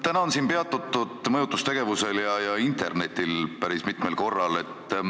Täna on siin peatutud mõjutustegevusel ja internetil päris mitmel korral.